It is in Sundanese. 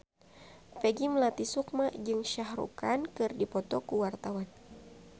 Peggy Melati Sukma jeung Shah Rukh Khan keur dipoto ku wartawan